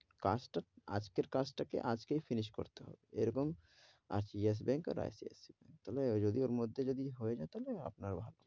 কাজ টা, আজেকের কাজ তা কে finish করতে হবে, এরকম যেস ব্যাঙ্ক, আর ICICI ব্যাঙ্ক, তবে যদি, ওর মধ্যে যদি হয়ে যাই তাহলে আপনার ভালো,